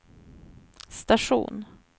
station